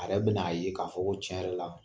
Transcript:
A yɛrɛ be na ye k'a fɔ ko tiɲɛ yɛrɛ la